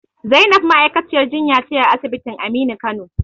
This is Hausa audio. Zainab ma'aikaciyar jinya ce a asibitin Aminu Kano.